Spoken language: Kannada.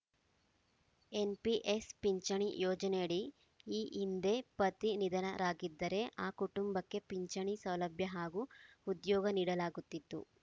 ಎನ್‌ಪಿಎಸ್‌ ಪಿಂಚಣಿ ಯೋಜನೆಯಡಿ ಈ ಹಿಂದೆ ಪತಿ ನಿಧನರಾಗಿದ್ದರೆ ಆ ಕುಟುಂಬಕ್ಕೆ ಪಿಂಚಣಿ ಸೌಲಭ್ಯ ಹಾಗೂ ಉದ್ಯೋಗ ನೀಡಲಾಗುತ್ತಿತ್ತು